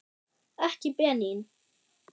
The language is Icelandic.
Ekki Benín.